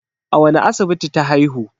a wane asibiti ta haihu?